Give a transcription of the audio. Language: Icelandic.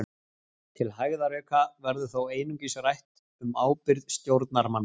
Til hægðarauka verður þó einungis rætt um ábyrgð stjórnarmanna.